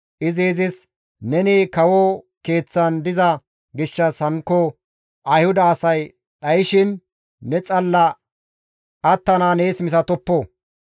izi izis, «Neni kawo keeththan diza gishshas hankko Ayhuda asay dhayshin ne xalla attanaa nees misatoppo;